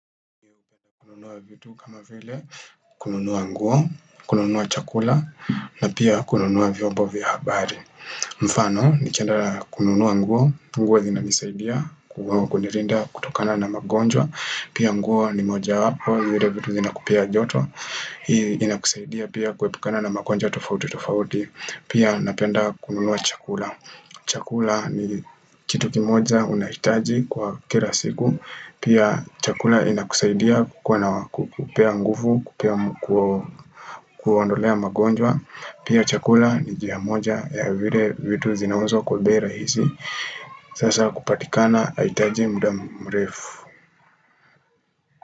Kununua vitu kama vile, kununua nguo, kununua chakula, na pia kununua vyombo vya habari. Mfano, nikienda kununua nguo, nguo zina nisaidia, kwa kunirinda, kutokana na magonjwa, pia nguo ni moja wapo, vile vitu zina kupea joto, inakusaidia pia kuepukana na magonjwa tofauti tofauti, pia napenda kununua chakula. Chakula ni kitu kimoja moja unaitaji kwa kira siku Pia chakula inakusaidia kukua kupea nguvu, kuondolea magonjwa Pia chakula ni jiamoja ya vire vitu zinaunzo kubira hizi Sasa kupatikana aitaji mdamrefu.